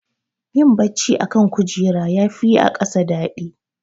Yin bacci a kan kujera yafi yi a ƙasa daɗi.